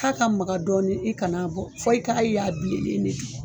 K'a ka magan dɔɔni i kan'a bɔ fɔ i k'a y'a bilenlen de do.